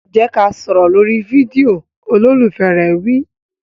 Jẹ́ ká sọ̀rọ̀ lórí fídíò! Olólùfẹ́ rẹ̀ wí.